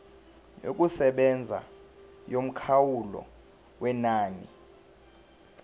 yokusebenza yomkhawulo wenani